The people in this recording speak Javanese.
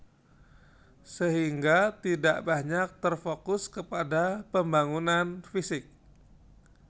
Sehingga tidak banyak terfokus kepada pembangunan fisik